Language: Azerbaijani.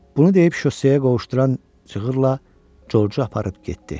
Bunu deyib şosseyə qovuşduran cığırla Georgeu aparıb getdi.